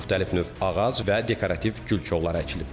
Müxtəlif növ ağac və dekorativ gül kolları əkilib.